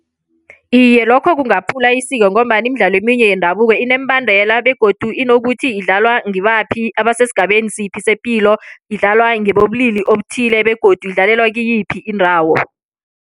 Iye, lokho kungaphula isiko ngombana imidlalo eminye yendabuko ineembandela begodu inokuthi idlalwa ngibaphi, abasesigabeni siphi sepilo, idlalwa ngebobulili obuthile begodu idlalelwa kiyiphi indawo.